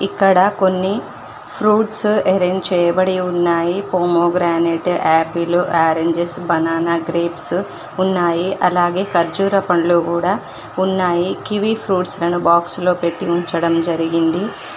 ఇక్కడ కొన్ని fruits arrange చేయబడి ఉన్నాయి pomegranate apple oranges banana grapes ఉన్నాయి అలాగే ఖర్జూర పండ్లు కూడా ఉన్నాయి కివీ ఫ్రూట్స్ లను బాక్స్ లో పెట్టి ఉంచడం జరిగింది.